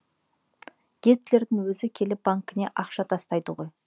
гитлердің өзі келіп банкіне ақша тастайды ғой